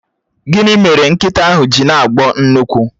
Gịnị mere nkịta ahụ ji na-agbọ nnukwu?